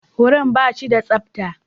Wurin ba shi da tsabta.